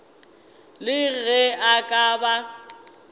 le ge a ka ba